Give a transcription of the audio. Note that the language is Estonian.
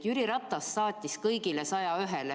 Jüri Ratas saatis kõigile 101-le.